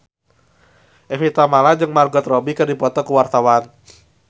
Evie Tamala jeung Margot Robbie keur dipoto ku wartawan